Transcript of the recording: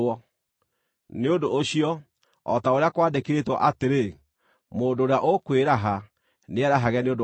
Nĩ ũndũ ũcio, o ta ũrĩa kwandĩkĩtwo atĩrĩ: “Mũndũ ũrĩa ũkwĩraha, nĩerahage nĩ ũndũ wa Mwathani.”